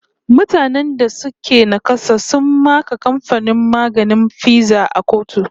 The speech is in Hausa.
Mutane da suka naƙasa sun maka kamfanin maganin Pfizer a kotu